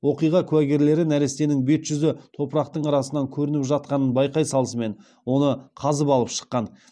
оқиға куәгерлері нәрестенің бет жүзі топырақтың арасынан көрініп жатқанын байқай салысымен оны қазып алып шыққан